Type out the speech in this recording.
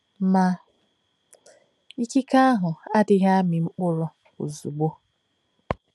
Ma, ikike ahụ adịghị amị mkpụrụ ozugbo.